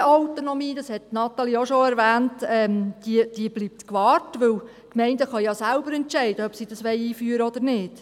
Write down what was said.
Die Gemeindeautonomie – das hat Grossrätin Imboden ebenfalls bereits erwähnt – bleibt gewahrt, da die Gemeinden selber entscheiden können, ob sie es einführen wollen oder nicht.